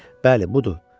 Bəli, budur!